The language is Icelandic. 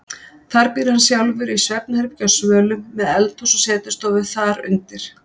Þar býr hann sjálfur í svefnherbergi á svölum, með eldhús og setustofu þar undir.